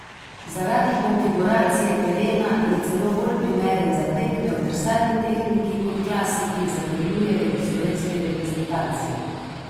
Zaradi konfiguracije terena je celo bolj primeren za tekme v drsalni tehniki kot klasiki, zatrjujejo v slovenski reprezentanci.